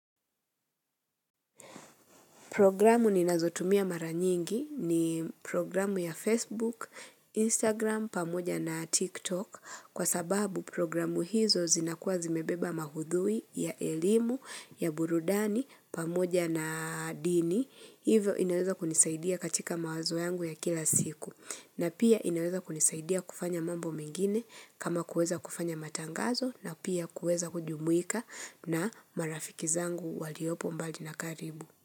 Programu ninazotumia mara nyingi ni programu ya Facebook, Instagram, pamoja na TikTok kwa sababu programu hizo zinakuwa zimebeba mahudhui ya elimu ya burudani pamoja na dini. Hivyo inaweza kunisaidia katika mawazo yangu ya kila siku na pia inaweza kunisaidia kufanya mambo mengine kama kuweza kufanya matangazo na pia kuweza kujumuika na marafiki zangu waliopo mbali na karibu.